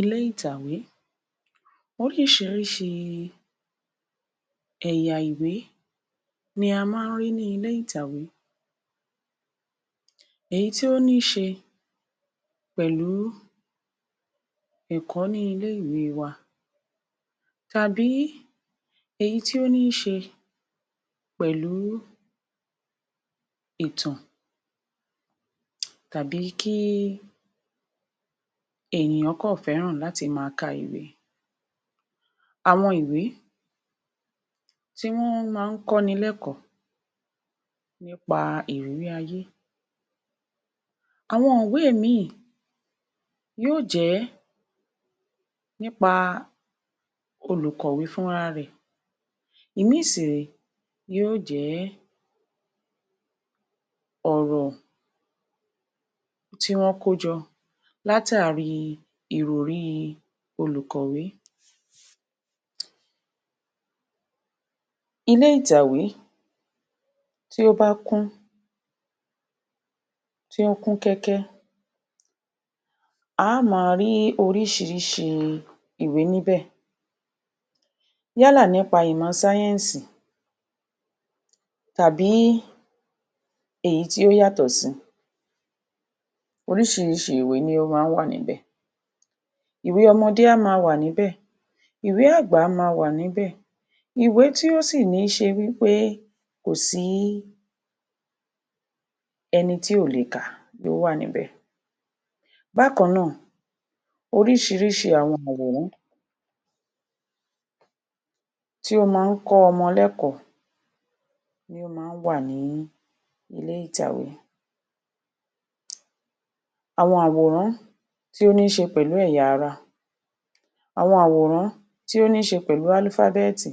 Ilé ìtàwé: oríṣiríṣi ẹ̀yà ìwé ni a máa ń rí ní ilé ìtàwé, èyí tí ó ní í ṣe pẹ̀lú ẹ̀kọ́ ní ilé-ìwé wa tàbí èyí tí ó ní í ṣe pẹ̀lú ìtàn tàbí kí ènìyàn kọ̀ fẹ́ràn láti máa ká ìwé. Àwọn ìwé tí wọn máa ń kọ́ ni lẹ́kọ̀ọ́ nípa ìrírí ayé. Àwọn ìwé mí yóò jẹ nípa òlùkọ̀wé fúnra rẹ. Ìmí sì ré yóò jẹ ọ̀rọ̀ tí wọ́n kó jọ látàrí ìròrí olùkọ́wé. Ilé ìtàwé tí ó bá a kún tí ó kún kẹ́ẹ́kẹ́, a ó máa rí oríṣiríṣi ìwé níbẹ̀ yálà nípa ìmọ̀ sáyẹ́ǹsì tàbí èyí tí ó yàtọ̀ sí, oríṣiríṣi ìwé ni ó máa ń wà níbẹ̀. Ìwé ọmọdé a máa wà níbẹ̀, ìwé àgbà a máa wà níbẹ̀, ìwé tí ó sí ní í ṣe wí pé kò sí ẹni tí ò lè ká, ó wà níbẹ̀. Bákan náà, oríṣiríṣi àwọn àwòrán tí ó máa ń kọ́ ọmọ lẹ́kọ̀ọ́ ni ó máa ń wà nílé ìtàwé. Àwọn àwòrán tí ó ní í ṣe pẹ̀lú ẹ̀yà ara, àwọn àwòrán tí ó ní í ṣe pẹ̀lú àlífábẹ́ẹ̀tì,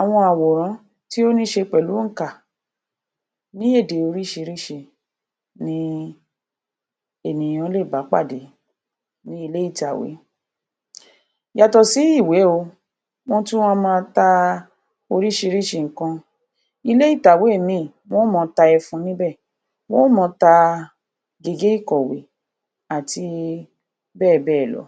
àwọn àwòrán tí ó ní í ṣe pẹ̀lú òǹkà, ní èdè oríṣiríṣi ni ènìyàn lé bá a pàdé nílé ìtàwé. Yàtọ̀ sí ìwé óò, wọn tún wà máa ta oríṣiríṣi nǹkan, ilé ìtàwé míì, wọn máa tá ẹfun níbẹ̀, wọn máa ta gégé ìkọ̀wé àti bẹ́ẹ̀ bẹ́ẹ̀ lọ.